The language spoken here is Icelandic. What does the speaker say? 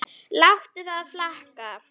Láttu það flakka.